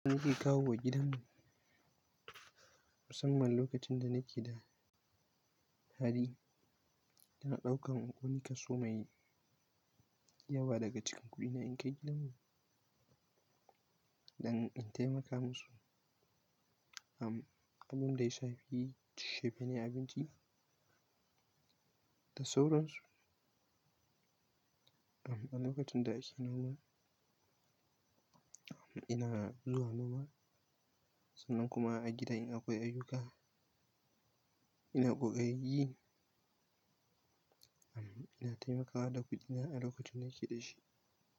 Nake kawo wa gidan mu, musamman lokacin da nake da hali, ina ɗaukan wani kaso mai yawa daga cikin kuɗina in kai gidan mu, don in taimaka musu, amm, abin da ya shafi shefe ne abinci da sauransu. Amm, a lokacin da ake noma, amm ina zuwa noma sannan kuma a gida in akwai ayyuka ina kokarin yi. Ina taimakawa da kuɗina a lokacin nake da shi.